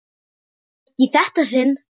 Ekki í þetta sinn.